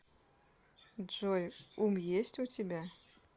джой ум есть у тебя